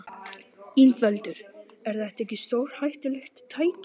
Ingveldur: Er þetta ekki stórhættulegt tæki?